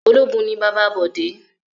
Ológun ni bàbá Bọ̀dé